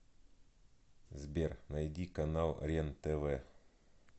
сбер найди канал рен тв